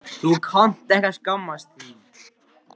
Þú sem kannt ekki að skammast þín.